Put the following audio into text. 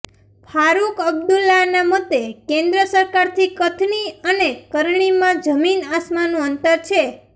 ફારુક અબ્દુલ્લાના મતે કેન્દ્ર સરકારની કથની અને કરણીમાં જમીન આસમાનનું અંતર છે